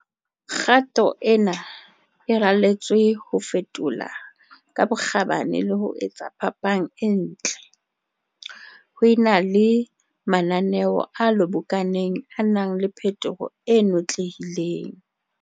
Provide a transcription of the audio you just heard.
Kgato ena e raletswe ho fetola ka bokgabane le ho etsa phapang e ntle, ho e na le mananeo a lobokaneng a nang le phetoho e notlehileng.